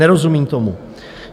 Nerozumím tomu.